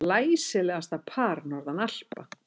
Glæsilegasta par norðan Alpa.